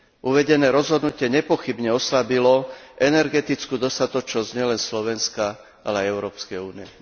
Uvedené rozhodnutie nepochybne oslabilo energetickú dostatočnosť nielen Slovenska, ale aj Európskej únie.